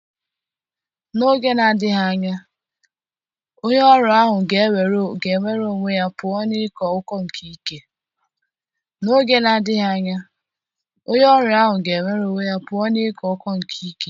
N'oge na-adịghị anya, onye ọrịa ahụ ga-enwere onwe ya pụọ na ịko ụkọ nke ike.